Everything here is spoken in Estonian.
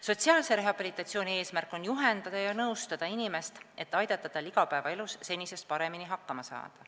Sotsiaalse rehabilitatsiooni eesmärk on juhendada ja nõustada inimest, et aidata tal igapäevaelus senisest paremini hakkama saada.